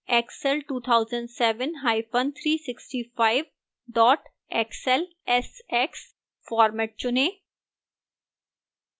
excel 2007365 xlsx format चुनें